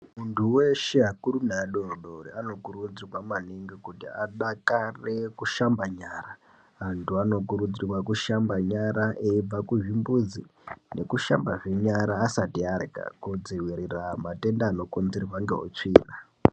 Muntu weshe akuru neadodori anokurudzirwa maningi kuti adakarire kushamba nyara antu anokurudzirwa kushamba nyara eibva kuzvimbuzi nekushambazve nyara asati arya kudziwirira matenda anokonzerwa nehutsvina.